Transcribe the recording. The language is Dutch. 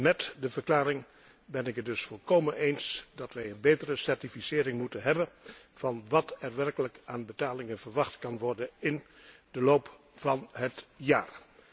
Met die verklaring ben ik het dus volkomen eens wij moeten een betere certificering hebben van wat er werkelijk aan betalingen verwacht kan worden in de loop van het jaar.